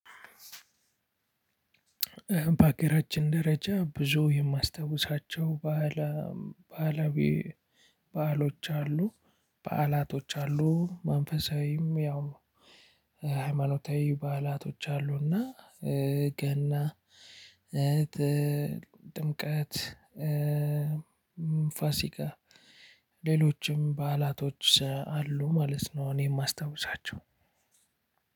በሀገራችን ደረጃ ብዙ የማስታውሳቸው ባህለ ባህላዊ በዓሎች አሉ በዓላቶች አሉ። መንፈሳዊም ያው ሃይማኖታዊ በዓላቶች አሉ። እና ገና ጥ ጥምቀት ፋሲካ ሌሎችም በዓላቶች አሉ ማለት ነው። እኔ ማስታውሳቸው